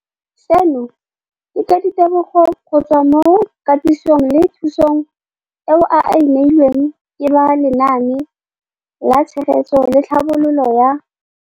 Seno ke ka ditebogo go tswa mo katisong le thu song eo a e neilweng ke ba Lenaane la Tshegetso le Tlhabololo ya